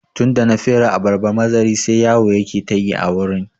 Tunda na fere abarba mazari sai yawo yake ta yi a wurin